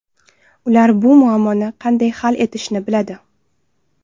Ular bu muammoni qanday hal etishni biladi.